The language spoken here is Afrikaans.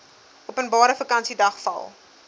openbare vakansiedag val